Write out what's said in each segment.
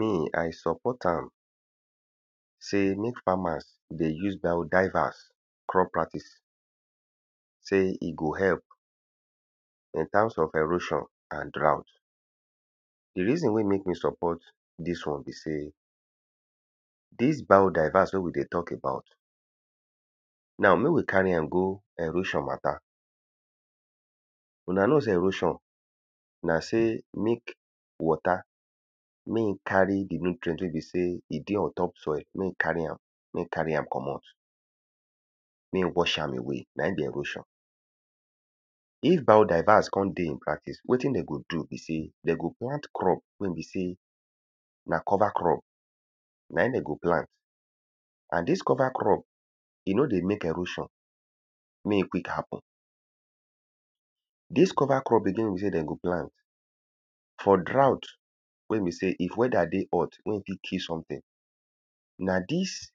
Me. i support am sey make farmers dey use biodiverse crop practice. Sey e go help in terms of erosion and draught. The reason wey make me support dis one be sey, dis biodiverse wey we dey talk about now make we carry am go erosion matter. una know sey erosion na sey make water mey e carry the nutrient wey be sey e dey on top soil. Mey e carry con carry am comot. Mey e wash am away. Na im be erosion. If biodiverse con dey on practice, wetin de go do be sey, de go plant crop wey be sey na cover crop. Na im de go plant And dis cover crop, de no dey make erosion mey e quick happen. Dis cover crop be the one wey be sey de go plant for draught. Wey be sey if weather dey hot, wey e fit kill something. Na dis,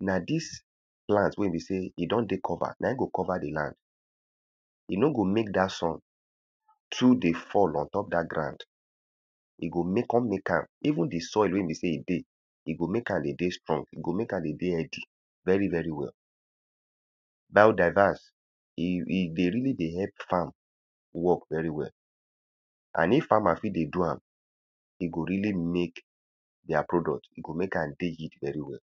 na dis plant wey be sey e don dey cover, na im go cover the land. E no go make dat sun too dey fall ontop dat ground. E go make con make am even the soil wey be say e dey. E go make am dey dey strong. E go make am dey dey healthy very very well. Biodiverse e e dey really dey help farm work very well. And if farmer fit dey do am e go really make their product e go make am dey yield very well.